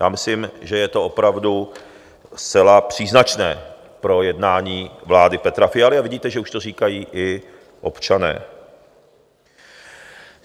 Já myslím, že je to opravdu zcela příznačné pro jednání vlády Petra Fialy, a vidíte, že už to říkají i občané.